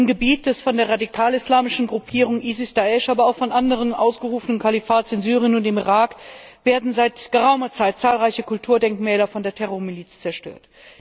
Im Gebiet des von der radikalislamischen Gruppierung IS Da'isch aber auch von anderen ausgerufenen Kalifats in Syrien und im Irak werden seit geraumer Zeit zahlreiche Kulturdenkmäler von der Terrormiliz zerstört.